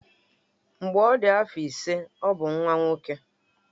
Mgbe ọ dị afọ ise ọ bụ nwa nwoke.